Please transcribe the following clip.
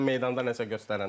Sən meydanda nəsə göstərəndə.